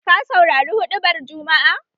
Ka saurari huɗubar jumma'a?